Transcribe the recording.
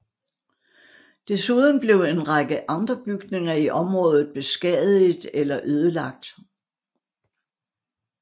Desuden blev en række andre bygninger i området beskadiget eller ødelagt